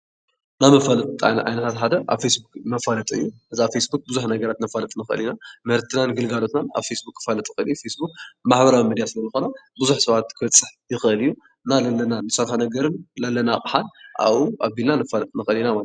ናይ መፋለጢ ዓይነት ሓደ መፋለጢ ፌስቡክ እዩ፡፡ እዚ ኣብ ፌስቡክ መፋለጢ ምፍላጥ ንኽእል ኢና ምህርትናን ኣገልግሎትና ኣብ ፌስቡክ ክፋለጡ ይኽእል እዩ፡፡ ፌስቡክ ማህበራዊ ሚድያ ስለዝኾነ ብዙሕ ሰባት ክበፅሕ ይኽእል እዩ፡፡ ለለና ኣቕሓ ኣብኡ ኣቢልና ነፋልጥ ንኽእል ኢና ማለት እዩ፡፡